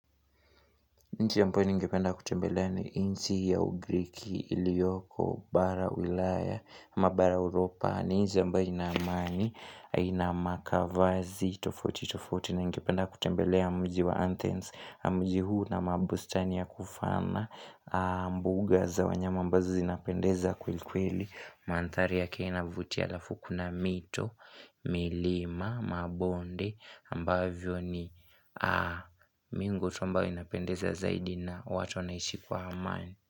Nchi ambayo ningependa kutembelea ni nchi ya ugriki, iliyoko, bara ulaya, ama bara uropa, ni nchi ambayo ina amani, ina makavazi, tofauti, tofauti, ningependa kutembelea mji wa anthens, na mji huu una mabustani ya kufana, mbuga za wanyama ambazo zinapendeza kwelikweli, manthari yake inavutia alafu kuna mito, milima, mabonde, ambavyo ni mingo tu ambayo inapendeza zaidi na watu wanaishi kwa amani.